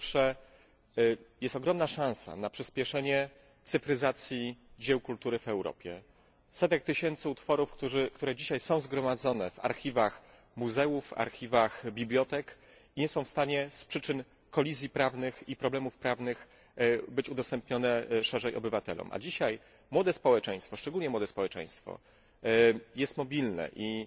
Po pierwsze, jest ogromna szansa na przyspieszenie cyfryzacji dzieł kultury w Europie, tych setek tysięcy utworów, które dzisiaj są zgromadzone w archiwach muzeów i bibliotek i nie mogą z powodu kolizji prawnych i problemów prawnych być udostępnione szerzej obywatelom. A dzisiaj młode społeczeństwo, szczególnie młode społeczeństwo, jest mobilne